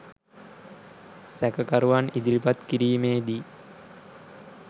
සැකකරුවන් ඉදිරිපත් කිරීමේදී